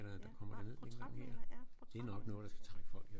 Ja nej portrætmaler ja portrætmaler